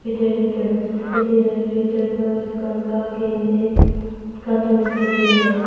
में दरवाजा दिखाई दे रहा है आगे में एक कार्टून दिखाई दे रहा है।